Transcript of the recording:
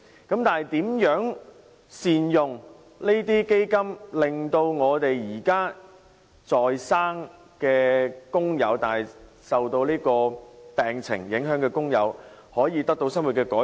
然而，如何善用這些基金，令現時在生但受到病情影響的工友可以得到生活的改善？